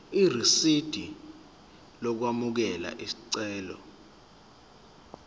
irisidi lokwamukela isicelo